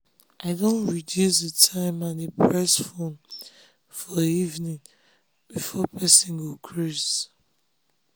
i don reduce d time i de press fone for evening before person go crase